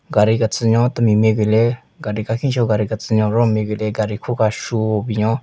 Gaari ketse nyon temi nme gule gaari kakhin shyu-o gaari ketse nyon ro nme güle gaari khoka shu-o bin nyon.